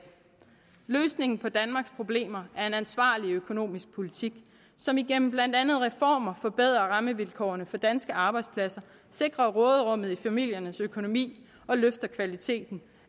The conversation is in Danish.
løsningen på danmarks problemer er en ansvarlig økonomisk politik som igennem blandt andet reformer forbedrer rammevilkårene for danske arbejdspladser sikrer råderummet i familiernes økonomi og løfter kvaliteten